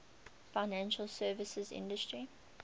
financial services industry